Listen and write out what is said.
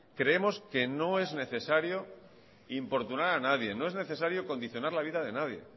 creemos que no es necesario importunar a nadie no es necesario condicionar la vida de nadie